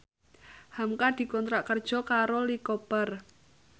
hamka dikontrak kerja karo Lee Cooper